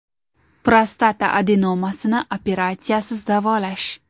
Prostata adenomasini operatsiyasiz davolash.